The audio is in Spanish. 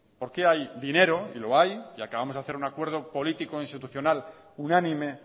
porque hay dinero y lo hay y acabamos de hacer un acuerdo político institucional unánime